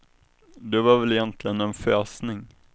Det var väl egentligen en fösning.